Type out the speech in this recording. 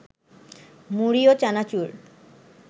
মুড়ি ও চানাচুর